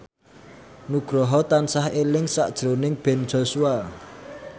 Nugroho tansah eling sakjroning Ben Joshua